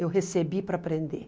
Eu recebi para aprender.